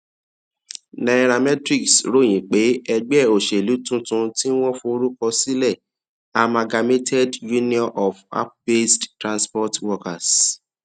nairametrics ròyìn pé ẹgbẹ òṣèlú tuntun tí wọn forúkọ sílẹ amalgamated union of appbased transport workers